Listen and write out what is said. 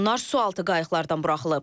Onlar sualtı qayıqlardan buraxılıb.